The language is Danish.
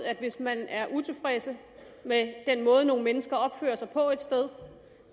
at hvis man er utilfreds med den måde nogle mennesker opfører sig på et sted